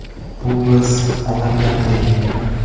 Bu biz onam bilan men”.